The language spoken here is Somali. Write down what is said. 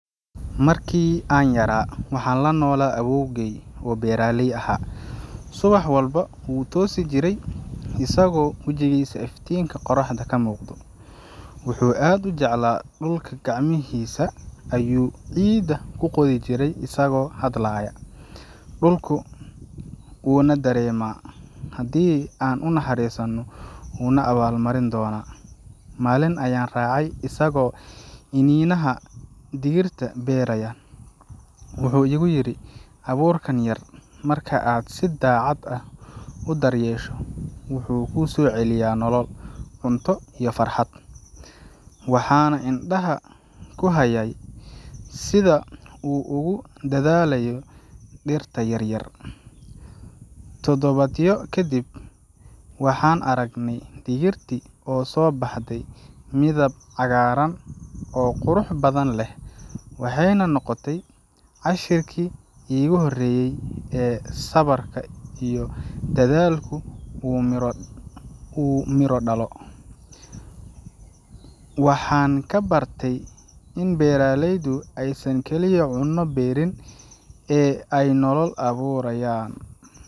Markii aan yaraa, waxaan la noolaa awoowgay oo beeraley ahaa. Subax walba, wuu toosi jiray isagoo wejigiisa iftiinka qoraxda ka muuqdo. Wuxuu aad u jeclaa dhulka, gacmihiisa ayuu ciidda ku qodi jiray isagoo hadlaya, “Dhulku wuu na dareemaa, haddii aan u naxariisanno, wuu na abaal marin doonaa.” Maalin ayaan raacay isagoo iniinaha digirta beeraya. Wuxuu igu yiri, “Abuurkan yar, marka aad si daacad ah u daryeesho, wuxuu kuu soo celinayaa nolol, cunto, iyo farxad.” Waxaan indhaha ku hayay sida uu ugu dadaalayo dhirta yaryar. Todobaadyo kadib, waxaan aragnay digirtii oo soo baxday, midab cagaaran oo qurux badan leh, waxayna noqotay casharkii iigu horeeyay ee sabarka iyo dadaalku uu miro dhalo. Waxaan ka bartay in beeralaydu aysan kaliya cunno beerin, ee ay nolol abuurayaan.